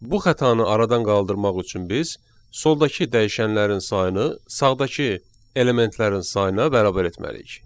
Bu xətanı aradan qaldırmaq üçün biz soldakı dəyişənlərin sayını sağdakı elementlərin sayına bərabər etməliyik.